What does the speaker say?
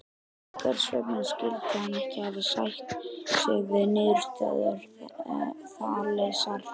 Hvers vegna skyldi hann ekki hafa sætt sig við niðurstöðu Þalesar?